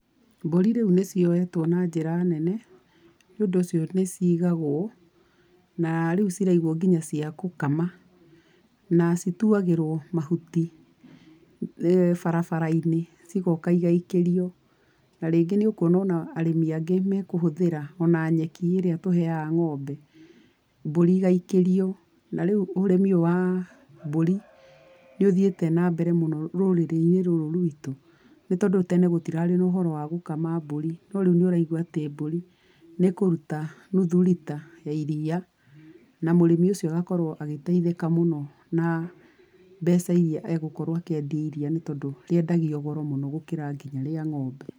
Mbũri rĩu nĩ cioetwo na njĩra nene nĩũndũ ũcio nĩ ciigagũo na rĩu ciraigũo nginya cia gũkama. Na cituagĩrũo mahuti barabara-inĩ cigoka igaikĩrio, na rĩngĩ nĩ ũkuona arĩmi angĩ makũhũthĩra ona nyeki ĩrĩa tũheaga ng'ombe mbũri igaikĩrio. Na rĩu ũrĩmi ũyũ wa mbũri nĩ ũthiĩte na mbere mũno rũrĩrĩ-inĩ rũrũ rwitũ nĩtondũ tene gũtirarĩ na ũhoro wa gũkama mbũri, no rĩu nĩ ũraigua atĩ mbũri nĩ ĩkũruta nuthu rita ya iria na mũrĩmi ũcio agakorũo agĩteithĩka mũno na mbeca irĩa egũkorwo akĩendia iria nĩ tondũ rĩendagio goro mũno gũkĩra nginya rĩa ng'ombe.